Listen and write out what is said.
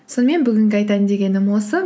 сонымен бүгінге айтайын дегенім осы